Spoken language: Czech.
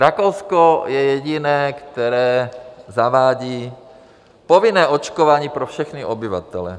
Rakousko je jediné, které zavádí povinné očkování pro všechny obyvatele.